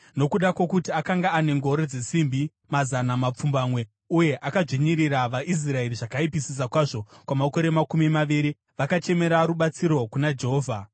Nokuda kwokuti akanga ane ngoro dzesimbi mazana mapfumbamwe uye akadzvinyirira vaIsraeri zvakaipisisa kwazvo kwamakore makumi maviri, vakachemera rubatsiro kuna Jehovha.